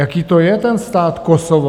Jaké to je, ten stát Kosovo?